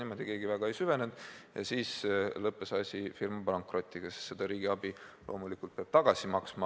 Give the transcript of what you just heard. Keegi aga väga ei süvenenud ja asi lõppes firma pankrotiga, sest riigiabi peab loomulikult hakkama tagasi maksma.